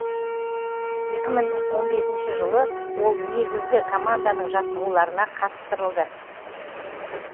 екі мың он бесінші жылы ол негізгі команданың жаттығуларына қатыстырылды